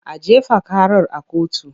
A jefa karar a kotu!